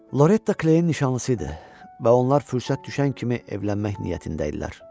Loretta Kleyn nişanlısı idi və onlar fürsət düşən kimi evlənmək niyyətində idilər.